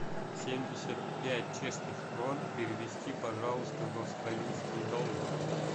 семьдесят пять чешских крон перевести пожалуйста в австралийские доллары